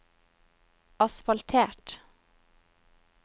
asfaltert